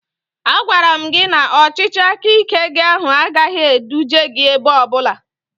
A gwaram gị na ọchịchị aka ike gị ahụ agaghị eduje gị ebe ọbụla